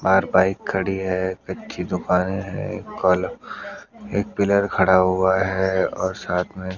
बाहर बाइक खड़ी है अच्छी दुकान है एक कल एक पिलर खड़ा हुआ है और साथ में--